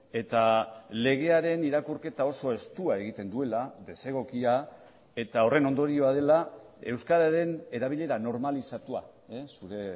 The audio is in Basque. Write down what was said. eta legearen irakurketa oso estua egiten duela desegokia eta horren ondorioa dela euskararen erabilera normalizatua zure